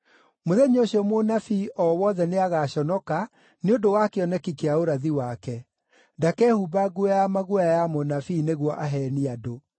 “Mũthenya ũcio mũnabii o wothe nĩagaconoka nĩ ũndũ wa kĩoneki kĩa ũrathi wake. Ndakehumba nguo ya maguoya ya mũnabii nĩguo aheenie andũ.